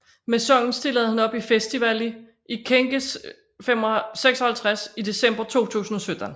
Med sangen stillede han op i Festivali i Këngës 56 i december 2017